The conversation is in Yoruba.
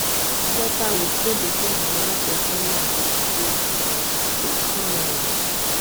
flutterwave kéde pé àwọn aláṣẹ kẹnyà ti fàwé gbogbo ẹsùn tó kànán